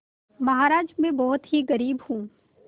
महाराज में बहुत ही गरीब हूँ